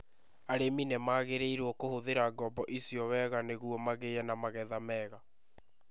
Arĩmi nĩ magĩrĩirũo kũhũthĩra ngombo icio wega nĩguo magĩe na magetha mega.